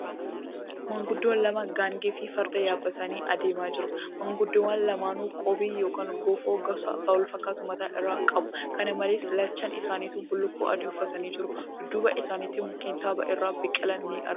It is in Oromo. Maanguddoon lama gaangee fi farda yaabbatanii adeema jiru. Maanguddoowwan lamaanuu qoobii yookan Gofoo gosa walfakkaatu mataa irraa qabu. Kana malees, lachaan isaanituu bullukkoo adii uffatanii jiru. Dudduuba isaaniitti mukkeen tabba irra biqilan ni argamu.